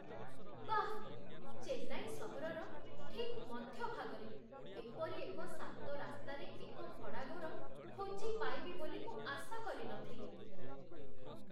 ବାଃ! ଚେନ୍ନାଇ ସହରର ଠିକ୍ ମଧ୍ୟଭାଗରେ ଏପରି ଏକ ଶାନ୍ତ ରାସ୍ତାରେ ଏକ ଭଡ଼ାଘର ଖୋଜି ପାଇବି ବୋଲି ମୁଁ ଆଶା କରି ନଥିଲି।